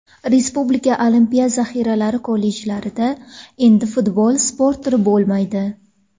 Respublika Olimpiya zaxiralari kollejlarida endi futbol sport turi bo‘lmaydi.